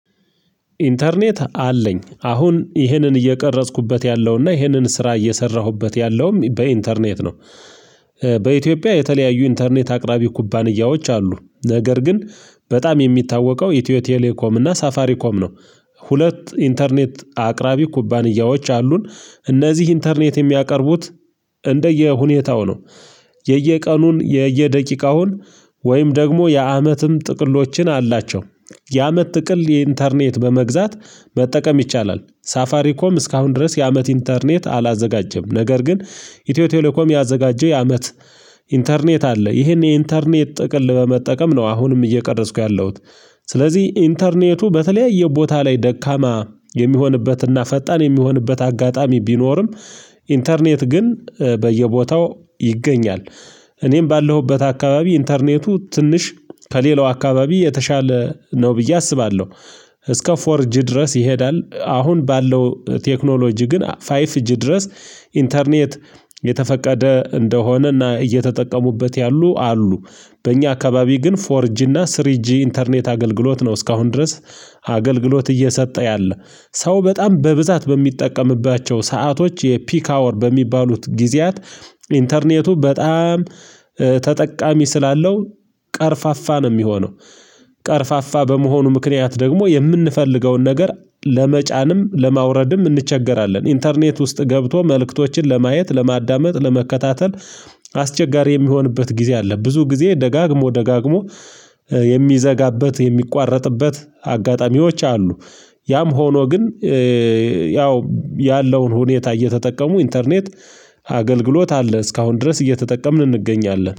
ኢንተርኔት አለኝ አሁን ይህንን እየቀረጽኩበት ያለውና ይህንን ስራ እየሰራሁበት ያለውም በኢንተርኔት ነው። በኢትዮጵያ የተለያዩ ኢንተርኔት አቅራቢ ኩባንያዎች አሉ። ነገር ግን በጣም የሚታወቀው ኢትዮ ቴሌኮም እና ሳፋሪኮም ነው። ሁለት ኢንተርኔት አቅራቢ ኩባንያዎች አሉን። እነዚህ ኢንተርኔት የሚያቀርቡት እንደየሁኔታው ነው። የየቀኑን የየደቂቃውን ወይም ደግሞ የአመትም ጥቅሎችን አላቸው። የአመት ጥቅል የኢንተርኔት በመግዛት መጠቀም ይቻላል። ሳፋሪኮም እስካሁን ድረስ የአመት ኢንተርኔት አላዘጋጀም። ነገር ግን ኢትዮ ቴሌኮም ያዘጋጀው የአመት ኢንተርኔት አለ። ይሄን የኢንተርኔት ጥቅል በመጠቀም ነው አሁንም እየቀረጽኩ ያለሁት። ስለዚህ ኢንተርኔቱ በተለያየ ቦታ ላይ ደካማ የሚሆንበትና ፈጣን የሚሆንበት አጋጣሚ ቢኖርም ኢንተርኔት ግን በየቦታው ይገኛል። እኔም ባለሁበት አካባቢ ኢንተርኔቱ ትንሽ ከሌላው አካባቢ የተሻለ ነው ብዬ አስባለሁ። እስከ ፎርጅ ድረስ ይሄዳል። አሁን ባለው ቴክኖሎጂ ግን ፋይፍ ጂ ድረስ ኢንተርኔት የተፈቀደ እንደሆነና እየተጠቀሙበት ያሉ አሉ። በእኛ አካባቢ ግን ፎርጂና ስሪጂ ኢንተርኔት አገልግሎት ነው እስካሁን ድረስ አገልግሎት እየሰጠ ያለ። ሰው በጣም በብዛት በሚጠቀምባቸው ሰአቶች የፒክ ሃወር በሚባሉት ጊዜያት ኢንተርኔቱ በጣም ተጠቃሚ ስላለው ቀርፋፋ ነው ሚሆነው': ቀርፋፋ በመሆኑ ምክንያት ደግሞ የምንፈልገውን ነገር ለመጫንም ለማውረድም እንቸገራለን። ኢንተርኔት ውስጥ ገብቶ መልእክቶችን ለማየት ለማዳመጥ ለመከታተል አስቸጋሪ የሚሆንበት ጊዜ አለ። ብዙ ጊዜ ደጋግሞ ደጋግሞ የሚዘጋበት የሚቋረጥበት አጋጣሚዎች አሉ። ያም ሆኖ ግን ያው ያለውን ሁኔታ እየተጠቀሙ ኢንተርኔት አገልግሎት አለ እስካሁን ድረስ እየተጠቀምን እንገኛለን።